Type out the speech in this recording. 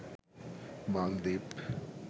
মালদ্বীপ